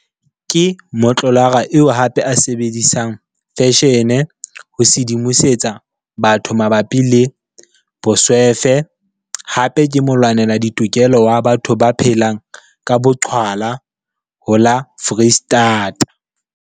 Ke motlolara eo hape a sebedisang feshene ho sedimosetsa batho mabapi le boswefe hape ke molwanela ditokelo wa batho ba phelang ka boqhwala ho la Foreistata.